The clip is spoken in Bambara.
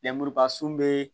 Lenmuruba sun bɛ